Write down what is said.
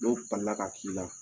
N'o balila ka k'i la